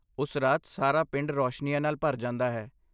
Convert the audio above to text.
ਉਸ ਰਾਤ ਸਾਰਾ ਪਿੰਡ ਰੌਸ਼ਨੀਆਂ ਨਾਲ ਭਰ ਜਾਂਦਾ ਹੈ।